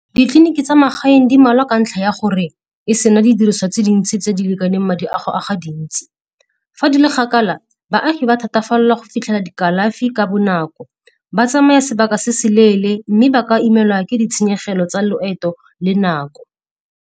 Ditleliniki tsa magaeng di mmalwa ka ntlha ya gore e se na di diriswa tse dintsi tse di lekaneng madi a go a ga dintsi. Fa di le kgakala, baagi ba thatafalela go fitlhela dikalafi ka bonako, ba tsamaya sebaka se se leele, mme ba ka imela ke ditshenyegelo tsa loeto le nako.